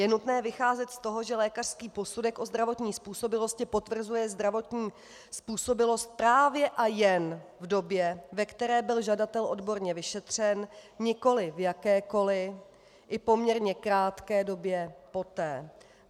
Je nutné vycházet z toho, že lékařský posudek o zdravotní způsobilosti potvrzuje zdravotní způsobilost právě a jen v době, ve které byl žadatel odborně vyšetřen, nikoli v jakékoli - i poměrně krátké - době poté.